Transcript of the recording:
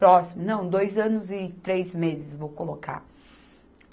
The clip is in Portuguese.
Próximo, não, dois anos e três meses, vou colocar.